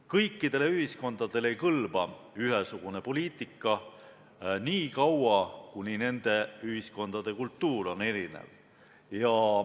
Kõikidele ühiskondadele ei kõlba ühesugune poliitika nii kaua, kuni nende ühiskondade kultuur on erinev.